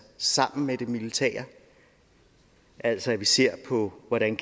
sammen med det militære altså at vi ser på hvordan